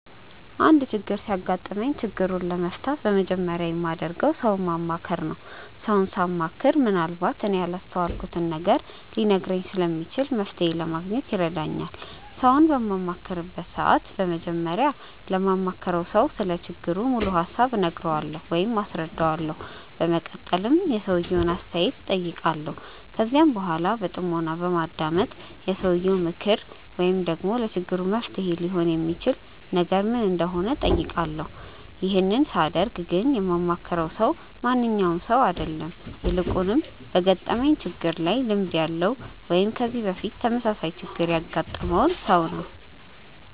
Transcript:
አንድ ችግር ሲያጋጥመኝ ችግሩን ለመፍታት በመጀመሪያ የማደርገው ሰውን ማማከር ነው። ሰውን ሳማክር ምንአልባት እኔ ያላስተዋልኩትን ነገር ሊነግረኝ ስለሚችል መፍተሔ ለማግኘት ይረዳኛል። ሰውን በማማክርበት ሰዓት በመጀመሪያ ለማማክረው ሰው ስለ ችግሩ ሙሉ ሀሳብ እነግረዋለሁ ወይም አስረዳዋለሁ። በመቀጠልም የሰውየውን አስተያየት እጠይቃለሁ። ከዚያም በኃላ በጥሞና በማዳመጥ የሰውየው ምክር ወይም ደግሞ ለችግሩ መፍትሔ ሊሆን የሚችል ነገር ምን እንደሆነ እጠይቃለሁ። ይህን ሳደርግ ግን የማማክረው ሰው ማንኛውም ሰው አይደለም። ይልቁንም በገጠመኝ ችግር ላይ ልምድ ያለው ወይም ከዚህ በፊት ተመሳሳይ ችግር ያገጠመውን ሰው ነው።